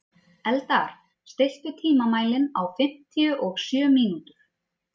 Eldar, stilltu tímamælinn á fimmtíu og sjö mínútur.